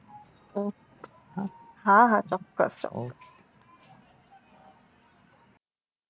હા હા ચોક્કસ ચોક્કસ